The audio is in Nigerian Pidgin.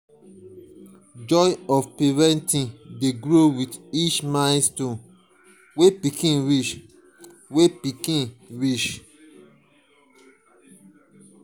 joy of parenting dey grow with each milestone wey pikin reach. wey pikin reach.